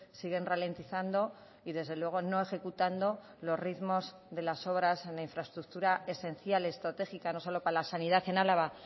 siguen ralentizando y desde luego no ejecutando los ritmos de las obras en la infraestructura esencial estratégica no solo para la sanidad en álava